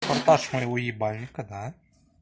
монтаж моего ебальника да